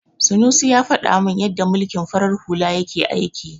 Sanusi ya faɗa min yadda mulkin farar hula yake aiki.